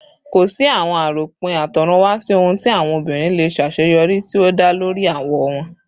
Ko si awọn aropin atorunwa si ohun ti awọn obinrin le ṣaṣeyọri ti o da lori awọ wọn